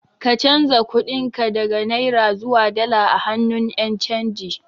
Ka canza kuɗin ka daga Naira zuwa dala a hannun Ƴan canji